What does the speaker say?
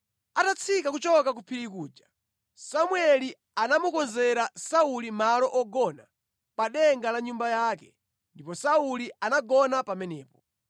Atatsika kuchoka ku phiri kuja, Samueli anamukonzera Sauli malo ogona pa denga la nyumba yake, ndipo Sauli anagona pamenepo.